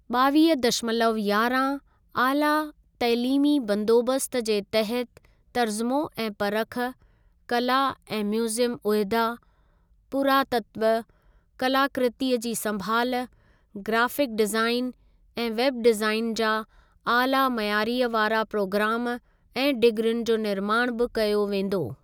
ॿावीह दशमलव यारहां आला तइलीमी बंदोबस्त जे तहत तर्जुमो ऐं परख, कला ऐं म्यूजियम उहिदा, पुरातत्व, कलाकृतीअ जी संभाल, ग्राफ़िक डिज़ाईन ऐं वेब डिज़ाईन जा आला मइयारीअ वारा प्रोग्राम ऐं डिग्रियुनि जो निर्माण बि कयो वेंदो।